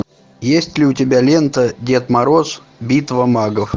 есть ли у тебя лента дед мороз битва магов